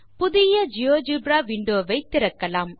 புதிய GeoGebra window வை திறக்கலாம்